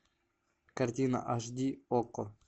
картина аш ди окко